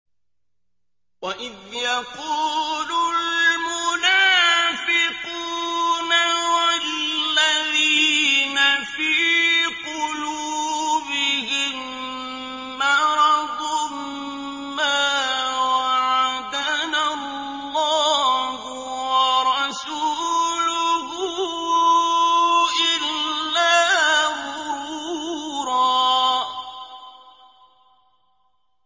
وَإِذْ يَقُولُ الْمُنَافِقُونَ وَالَّذِينَ فِي قُلُوبِهِم مَّرَضٌ مَّا وَعَدَنَا اللَّهُ وَرَسُولُهُ إِلَّا غُرُورًا